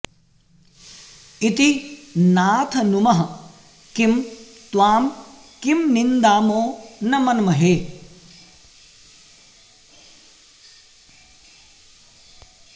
इति नाथ नुमः किं त्वां किं निन्दामो न मन्महे